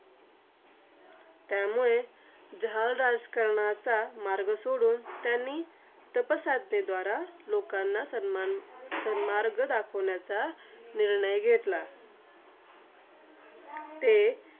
त्यामुळे जहाल राजकारणाचा मार्ग सोडून त्यांनी तापसाधनेद्वारा, लोकांना सन्मान सन्मार्ग दाखवण्याचा निर्णय घेतला. ते